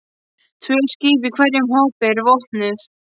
Tvö skip í hverjum hópi eru vopnuð.